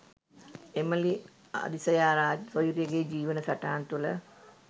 Emily Adisayaraj සොයුරියගේ ජීවන සටහන් තුළ